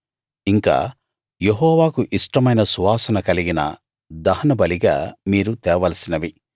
ఇంకా యెహోవాకు ఇష్టమైన సువాసన కలిగిన దహన బలిగా మీరు తేవలసినవి